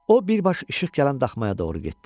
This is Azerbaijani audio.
O birbaşa işıq gələn daxmaya doğru getdi.